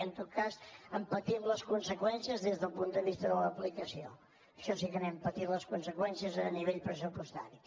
en tot cas en patim les conseqüències des del punt de vista de l’aplicació això sí que n’hem patit les conseqüències a nivell pressupostari